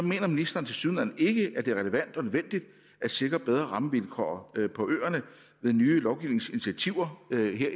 ministeren tilsyneladende ikke at det er relevant og nødvendigt at sikre bedre rammevilkår på øerne med nye lovgivningsinitiativer i det her